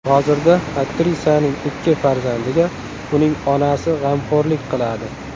Hozirda aktrisaning ikki farzandiga uning onasi g‘amxo‘rlik qiladi.